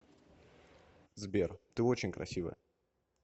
сбер ты очень красивая